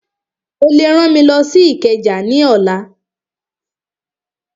Ó lè rán mi lọ sí Ìkẹjà ní ọ̀la